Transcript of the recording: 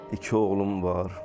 İki oğlum var.